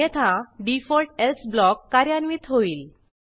अन्यथा default else block कार्यान्वित होईल